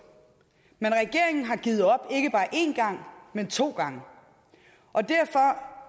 men regeringen har givet op ikke bare én gang men to gange